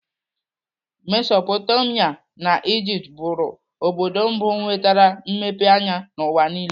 Mesopotamia na Ijipt bụrụ obodo mbụ nwetere mmepe anya n'ụwa niile.